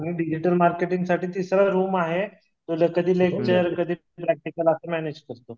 आणि डिजिटल मार्केटिंगसाठी तिसरं रूम आहे तर कधी लेकचर कधी प्रॅक्टिकल असं मॅनेज करतो